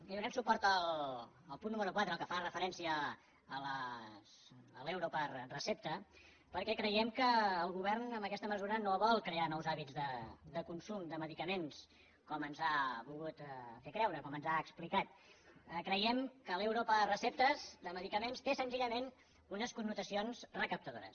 i donarem suport al punt número quatre el que fa referència a l’euro per recepta perquè creiem que el govern amb aquesta mesura no vol crear nous hàbits de consum de medicaments com ens ha volgut fer creure com ens ha explicat creiem que l’euro per recepta de medicaments té senzillament unes connotacions recaptadores